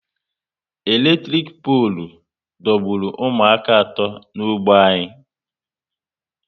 Eletrik polu dọgburu ụmụaka atọ n'ógbè anyị